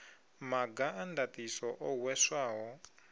maga a ndaṱiso o hweswaho